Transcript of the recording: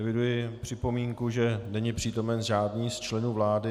Eviduji připomínku, že není přítomen žádný z členů vlády.